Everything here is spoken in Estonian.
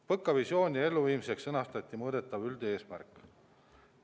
PõKa visiooni elluviimiseks sõnastati mõõdetav üldeesmärk.